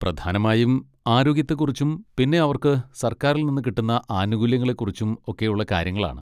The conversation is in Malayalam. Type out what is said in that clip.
പ്രധാനമായും ആരോഗ്യത്തെ കുറിച്ചും പിന്നെ അവർക്ക് സർക്കാരിൽ നിന്ന് കിട്ടുന്ന ആനുകൂല്യങ്ങളെ കുറിച്ചും ഒക്കെയുള്ള കാര്യങ്ങളാണ്.